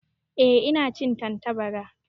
Ehh ina cin Tantabara.